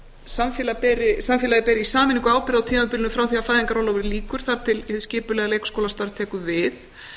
samfélagið beri í sameiningu ábyrgð á tímabilinu frá því að fæðingarorlofi lýkur þar til hið skipulega leikskólastarf tekur við